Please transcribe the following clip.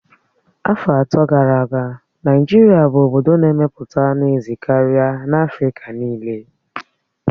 Afọ atọ gara aga, Naịjirịa bụ obodo na-emepụta anụ ezi karịa na Afrịka niile